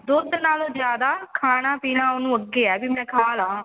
ਦੁੱਧ ਨਾਲੋ ਜਿਆਦਾ ਖਾਣਾ ਪੀਣਾ ਉਹਨੂੰ ਅੱਗੇ ਆ ਵੀ ਮੈਂ ਖਾ ਲਾਂ